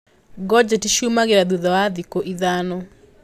Ngojeti ciumĩraga thutha wa thikũ ithano.